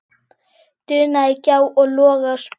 dunaði gjá og loga spjó.